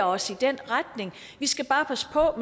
os i den retning vi skal bare passe på